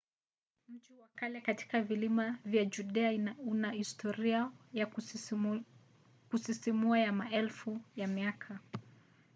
mji wa kale katika vilima vya judea una historia ya kusisimua ya maelfu ya miaka